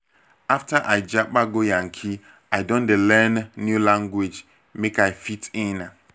after i japa go yankee i don dey learn new language make i fit in.